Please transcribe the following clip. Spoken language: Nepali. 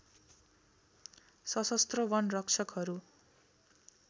सशस्त्र वन रक्षकहरू